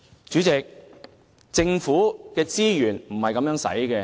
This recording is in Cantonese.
主席，政府的資源是不應這樣運用的。